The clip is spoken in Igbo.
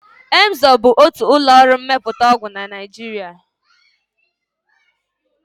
Emzor bụ otu ụlọọrụ mmepụta ọgwụ na Naịjiria